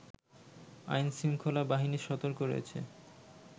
আইন-শৃঙ্খলা বাহিনী সতর্ক রয়েছে